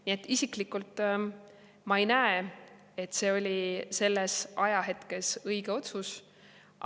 Nii et isiklikult ma ei näe, et see oli selles ajahetkes õige otsus.